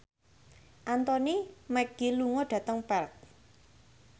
Anthony Mackie lunga dhateng Perth